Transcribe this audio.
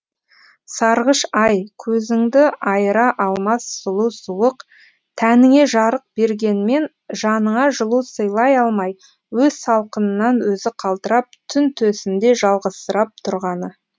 сарғыш ай көзіңді айыра алмас сұлу суық тәніңе жарық бергенмен жаныңа жылу сыйлай алмай өз салқынынан өзі қалтырап түн төсінде жалғызсырап тұрғаны